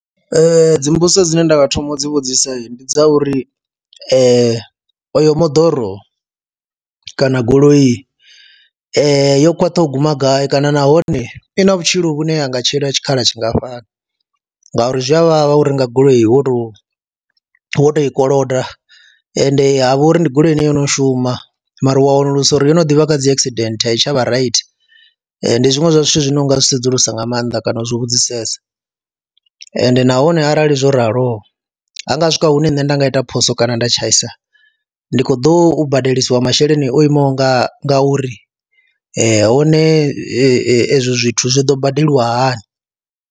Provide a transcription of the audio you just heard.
Dzi mbudziso dzine nda nga thoma u dzi vhudzisa ndi dza uri oyo moḓoro kana goloi yo khwaṱha u guma gai kana nahone i na vhutshilo vhune ha nga tshila tshikhala tshingafhani ngauri zwi a vhavha uri nga goloi wo tou wo tou i koloda ende ha vha uri ndi goloi ine yono shuma mara wa wanulusa uri yo no ḓivha kha dzi accident a i tsha vha right. Ndi zwiṅwe zwa zwithu zwine u nga zwi sedzulusa nga maanḓa kana u zwi vhudzisesa ende nahone arali zwo raloho ha nga swika hune nṋe nda nga ita phoso kana nda tshaisa ndi khou ḓo badeliwa masheleni o imaho nga uri, hone ezwo zwithu zwo ḓo badeliwa hani.